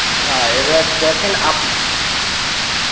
না এবার দেখেন আপ~।